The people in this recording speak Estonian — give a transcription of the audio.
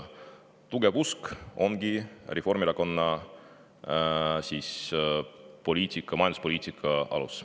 Tugev usk ongi Reformierakonna majanduspoliitika alus.